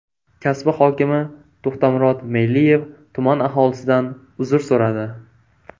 Kasbi hokimi To‘xtamurod Meyliyev tuman aholisidan uzr so‘radi.